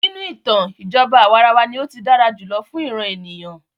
Nínú ìtàn, ìjọba àwàrawa ní o tí dára jùlọ fún ìràn ènìyàn.